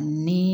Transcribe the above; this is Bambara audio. Ni